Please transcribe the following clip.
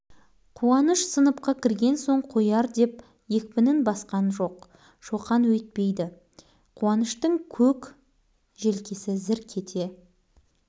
басқа бала ұрса бір сәрі шоқанға амал жоқ онымен байланысып абырой таппайсың оның сыныптағы балалардың бәріне